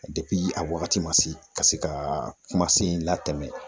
a wagati ma se ka se ka kuma sen in latɛmɛ